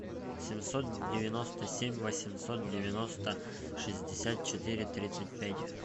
семьсот девяносто семь восемьсот девяносто шестьдесят четыре тридцать пять